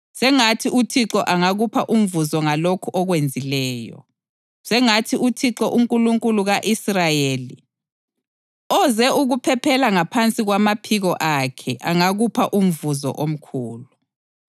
Sengathi uThixo angakupha umvuzo ngalokhu okwenzileyo. Sengathi uThixo, uNkulunkulu ka-Israyeli, oze ukuphephela ngaphansi kwamaphiko akhe angakupha umvuzo omkhulu.”